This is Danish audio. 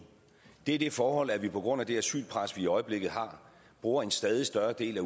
det er det forhold at vi på grund af det asylpres vi i øjeblikket har bruger en stadig større del